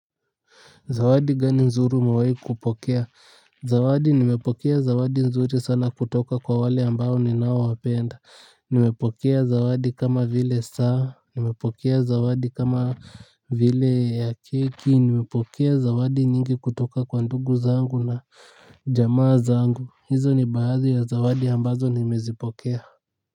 Zawadi gani nzuri umewai kupokea. Zawadi nimepokea zawadi nzuri sana kutoka kwa wale ambao ninaowapenda. Nimepokea zawadi kama vile saa. Nimepokea zawadi kama vile ya keki. Nimepokea zawadi nyingi kutoka kwa ndugu zangu na jamaa zangu. Hizo ni baadhi ya zawadi ambazo nimezipokea.